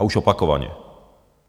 A už opakovaně.